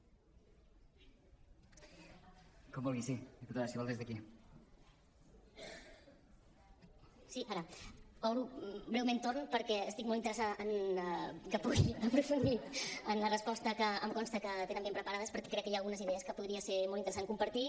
obro breument torn perquè estic molt interessada en que pugui aprofundir en la resposta que em consta que tenen ben preparada perquè crec que hi ha algunes idees que podria ser molt interessant compartir